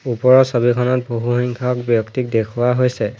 ওপৰৰ ছবিখনত বহুসংখ্যক ব্যক্তিক দেখুৱা হৈছে।